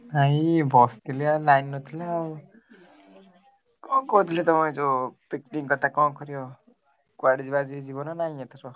ଏଇ ବସିଥିଲି ଆଉ line ନଥିଲା ଆଉ କଣ କହୁଥିଲି ତମେ ଯୋଉ picnic କଥା କଣ କରିବ କୁଆଡେ ଯିବା ଯିବି ଯିବ ନା ନାଇଁ ଏଥର?